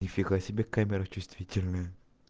ни фига себе камера чувствительная